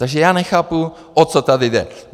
Takže já nechápu, o co tady jde.